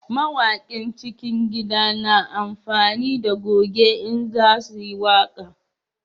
Mawakin cikin gida na amfani da goje in za su yi waƙa